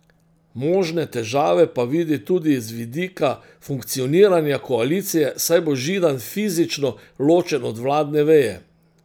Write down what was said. Možne težave pa vidi tudi z vidika funkcioniranja koalicije, saj bo Židan fizično ločen od vladne veje.